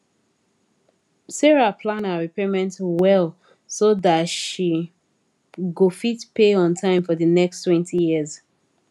sarah plan her repayment well so that she go fit pay on time for the nexttwentyyears